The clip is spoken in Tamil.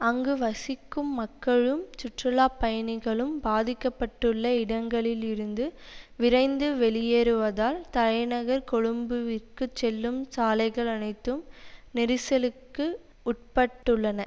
அங்கு வசிக்கும் மக்களும் சுற்றுலா பயணிகளும் பாதிக்க பட்டுள்ள இடங்களில் இருந்து விரைந்து வெளியேறுவதால் தலைநகர் கொழும்விற்குச் செல்லும் சாலைகள் அனைத்தும் நெரிசலுக்கு உட்பட்டுள்ளன